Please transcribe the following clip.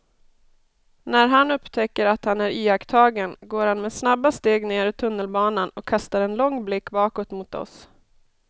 När han upptäcker att han är iakttagen går han med snabba steg ner i tunnelbanan och kastar en lång blick bakåt mot oss.